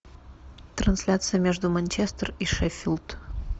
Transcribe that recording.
трансляция между манчестер и шеффилд